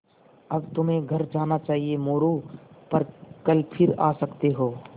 अब तुम्हें घर जाना चाहिये मोरू पर कल फिर आ सकते हो